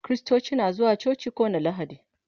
kristoci na zuwa coci kowani lahadi